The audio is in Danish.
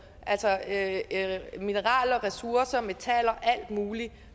altså at mineraler ressourcer metaller og alt muligt